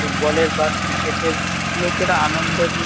football -এর বা cricket -এর লোকেরা আনন্দ নি --